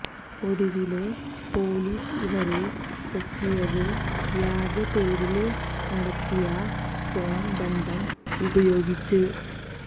ഒടുവില് പോലീസ് ഇവരെ പൊക്കിയത് വ്യാജപ്പേരില് നടത്തിയ ഫോണ് ബന്ധം ഉപയോഗിച്ച്